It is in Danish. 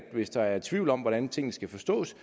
hvis der er tvivl om hvordan tingene skal forstås